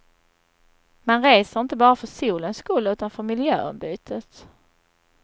Man reser inte bara för solens skull utan för miljöombytet.